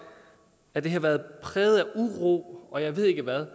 at det har været præget af uro og jeg ved ikke hvad